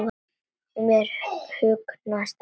Mér hugnast ekki veðrið.